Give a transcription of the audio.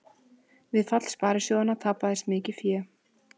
Við fall sparisjóðanna tapaðist mikið fé